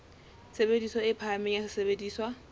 tshebediso e phahameng ya sesebediswa